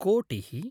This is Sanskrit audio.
कोटिः